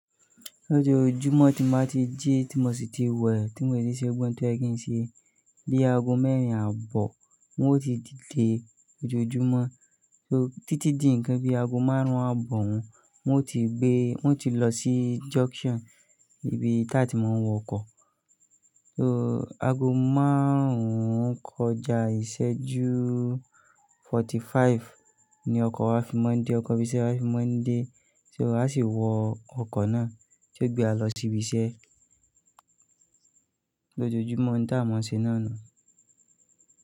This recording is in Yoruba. Lójòòjúmọ́ tí mo ti jí, tí mo sì ti wẹ̀, tí mò ì ṣíṣẹ́ gbọ̀n tó ẹ̀ kí n ṣe gbé ago mẹ́rin ààbọ̀ wọ́n ó ti dìde ojoojúmọ́. So títí di ǹkan bí ago márùn-ún ààbọ̀ wọ́n, wọn ó ti gbé, wọ́n ti lọ sí junction ibi tí àti máa ń wọ ọkọ̀. So ago márùn-ún kọjá ìṣẹ́jú forty-five ní ọkọ̀ wá fi maa dé, ọkọ̀ bí iṣẹ́ wá fi maa dé. So a sì wọ ọkọ̀ náà tí ó gbé wa lọ sí ibi iṣẹ́ lójoojúmọ́ nu ta maa se na ni.